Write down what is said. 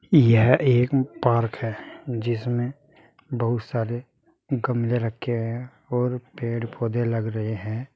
यह एक पार्क है जिसमें बहुत सारे गमले रखे हैं और पेड़ पौधे लग रहे हैं।